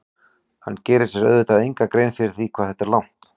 Hann gerir sér auðvitað enga grein fyrir því hvað þetta er langt.